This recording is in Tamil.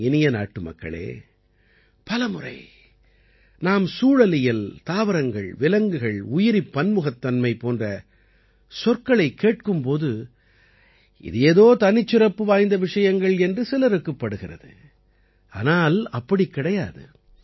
என் இனிய நாட்டுமக்களே பல முறை நாம் சூழலியல் தாவரங்கள் விலங்குகள் உயிரிப் பன்முகத்தன்மை போன்ற சொற்களைக் கேட்கும் போது இது ஏதோ தனிச்சிறப்பு வாய்ந்த விஷயங்கள் என்று சிலருக்குப்படுகிறது ஆனால் அப்படி கிடையாது